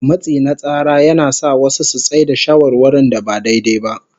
Matsi na tsara yana sa wasu su tsai da shawarwarin da ba daidai ba.